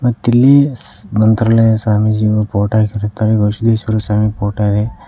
ಮತ್ತಿಲ್ಲಿ ಮಂತ್ರಾಲಯ ಸ್ವಾಮೀಜಿಯ ಫೋಟೋ ಹಾಕಿರುತ್ತಾರೆ ಬಸವೇಶ್ವರ ಸ್ವಾಮಿ ಫೋಟೋ ಇದೆ.